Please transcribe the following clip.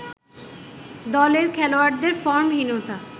দলের খেলোয়াড়দের ফর্মহীনতা